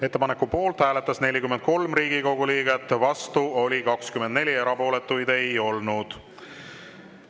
Ettepaneku poolt hääletas 43 Riigikogu, vastu oli 24, erapooletuid ei olnud.